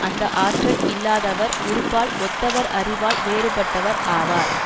அந்த ஆற்றல் இல்லாதவர் உறுப்பால் ஒத்தவர் அறிவால் வேறுபட்டவர் ஆவார்